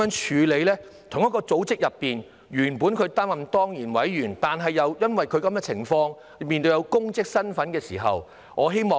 在同一個組織內，原本應擔任當然委員的，卻又因為這種情況，因為有公職身份的時候，會如何處理呢？